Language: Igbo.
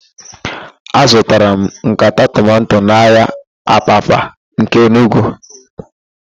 Azụtara m nkata tomanto n'ahịa Abapa nke Enugwu.